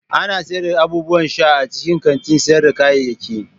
Ana sayar da abubuwan sha a cikin kantin sayar da kayayyaki.